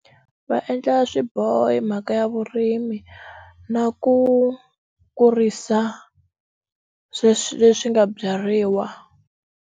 Va endla swiboho hi mhaka ya vurimi na ku kurisa sweswi leswi nga byariwa.